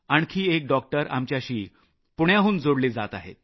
आणखी एक डॉक्टर आमच्याशी पुण्याहून जोडले जात आहेत